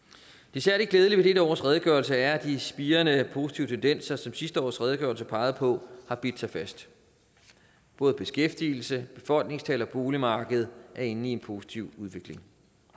det særlig glædelige ved dette års redegørelse er at de spirende positive tendenser som sidste års redegørelse pegede på har bidt sig fast både beskæftigelse befolkningstal og boligmarked er inde i en positiv udvikling